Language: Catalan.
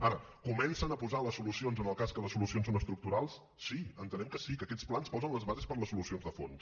ara comencen a posar les solucions en el cas que les solucions són estructurals sí entenem que sí que aquests plans posen les bases per a les solucions de fons